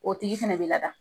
O tigi fɛnɛ bi lada